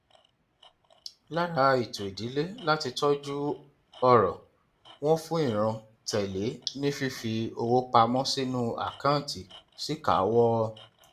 lára ètò ìdílé láti tọjú ọrọ wọn fún ìran tẹlé ni fífi owó pa mọ sínú àkáǹtì síkàáwọ